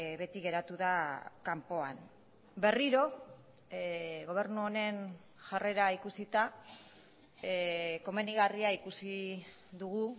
beti geratu da kanpoan berriro gobernu honen jarrera ikusita komenigarria ikusi dugu